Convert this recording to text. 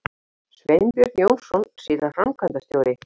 Sveinbjörn Jónsson, síðar framkvæmdastjóri